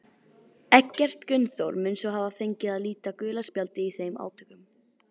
Eggert Gunnþór mun svo hafa fengið að líta gula spjaldið í þeim átökum.